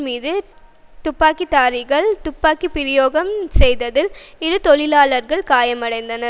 மீது துப்பாக்கிதாரிகள் துப்பாக்கி பிரயோகம் செய்ததில் இரு தொழிலாளர்கள் காயமடைந்தனர்